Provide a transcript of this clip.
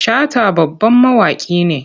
Shata babban mawaki ne.